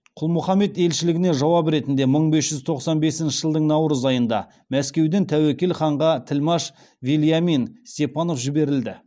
құлмұхаммед елшілігіне жауап ретінде мың бес жүз тоқсан бесінші жылдың наурыз айында мәскеуден тәуекел ханға тілмаш вельямин степанов жіберілді